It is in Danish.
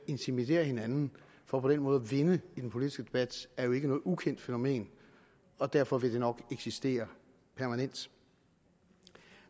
intimidere hinanden for på den måde at vinde i den politiske debat er jo ikke noget ukendt fænomen og derfor vil det nok eksistere permanent